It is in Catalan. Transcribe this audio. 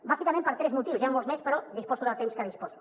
bàsicament per tres motius n’hi han molts més però disposo del temps que disposo